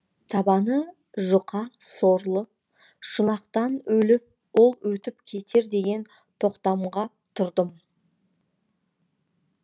табаны жұқа сорлы шұнақтан ол өтіп кетер деген тоқтамға тұрдым